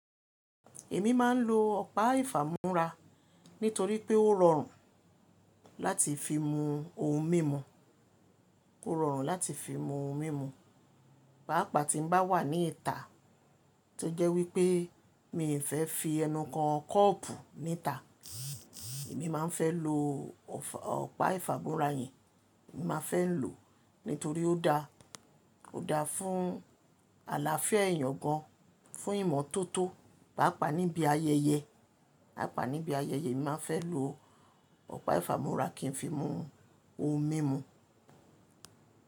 Èmi máa ń lo ọ̀pá ìfámú́ra nítorí pé ó rọrùn láti fi mu ohun mímu. Ó rọrùn láti fi mu ohun mímu, pàápàá tí mo bá wà ní ìta tó jẹ́ wípé mi ò fẹ́ fi ẹnu kan kọ́ọ̀pù ní ìta, èmi máa ń fẹ́ lo ọ̀pá ìfámú́ra yẹn, èmi máa fẹ́ lò nítorí ó dáa, ó dáa fún àlàáfíà ẹ̀yàn gan an, fún ìmọ́tótó pàápàá níbi ayẹyẹ, pàápàá níbi ayẹyẹ èmi máa ń fẹ́ lo ọ̀pá ìfámú́ra kí n fi mu ohun mímu.